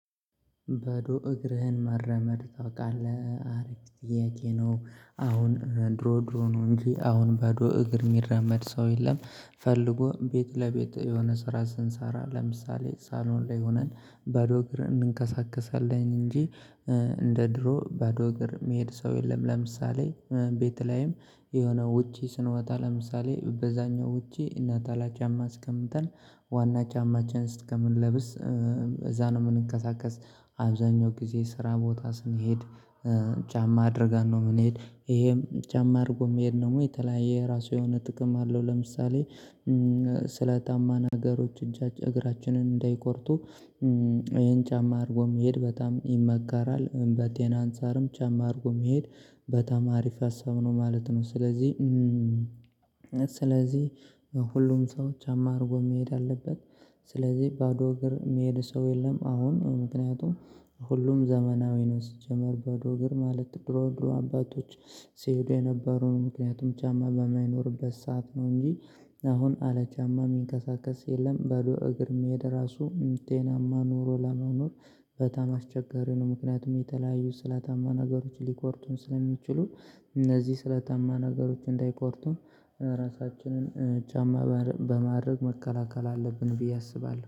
በዶ እግርህን መራመድ ታውቃለህ አሪፍ ጥያቄ ነው አሁን ድሮ ድሮ ነው እንጂ አሁን ባዶ እግር እሚራመድ ሰው የለም። ፈልጎ ቤት ለቤት የሆነ ስራ ስንሰራ ለምሳሌ ሳሎን ላይ ሆነን ባዶ እግር እንንቀሳቀሳለን እንጂ እንደ ድሮ ባዶ እግር እሚሄድ ሰው የለም። ለምሳሌ ቤት ላይም የሆነ ውጪ ስንወጣ ለምሳሌ በዛኛው ውጪ እና ነጠላ ጫማ አስቀምጠን ዋና ጫማችን እስከምንለብስ እዛ ነው የምንቀሳቀስ አብዛኛው ጊዜ ስራ ቦታ ስንሄድ። ጫማ አድርገን ነው የምንሄድ ይሄም ጫማ አድርጎ መሄድ ደግሞ የተለያየ የራሱ የሆነ ጥቅም አለው። ለምሳሌ ስለታማ ነገሮች እጃችን እግራችንን እንዳይቆርጡ። ይሄን ጫማ አድርጎ መሄድ በጣም ይመጋራል በጤና አንፃርም ጫማ አድርጎ መሄድ በጣም አሪፍ ሀሳብ ነው ማለት ነው። ስለዚህ ስለዚህ ሁሉም ሰው ጫማ አድርጎ መሄድ አለበት። ስለዚህ ባዶ እግር የሚሄድ ሰው የለም። አሁን ምክንያቱም ሁሉም ዘመናዊ ነው። ሲጀመር በዶግር ማለት ድሮ ድሮ አባቶች ሲሄዱ የነበሩን ምክንያቱም ጫማ በማይኖርበት ሰዓት ነው እንጂ። አሁን ካለ ጫማ እሚንቀሳቀስ የለም። ባዶ እግር መሄድ ራሱ ጤናማ ኑሮ ለመኖር በጣም አስቸጋሪ ነው። ምክንያቱም የተለያዩ ስላታማ ነገሮች ሊቆርጡን ስለሚችሉ። እነዚህ ስለታማ ነገሮች እንዳይቆርጡን ራሳችንን ጫማ በማድረግ መከላከል አለብን ብዬ አስባለሁ